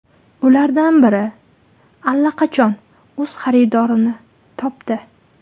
Ulardan biri allaqachon o‘z xaridorini topdi.